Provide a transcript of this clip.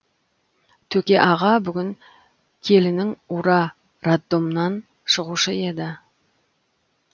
төке аға бүгін келінің ура роддомнан шығушы еді